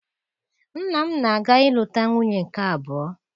Nna m na-aga ịlụta nwunye nke abụọ